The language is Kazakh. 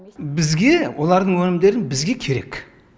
бізге олардың өнімдері бізге керек